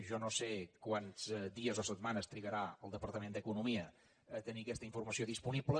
jo no sé quants dies o setmanes trigarà el departament d’economia a tenir aquesta informació disponible